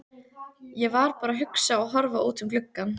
Ég var bara að hugsa og horfa út um gluggann.